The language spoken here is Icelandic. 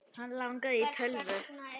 Hann langaði í tölvu.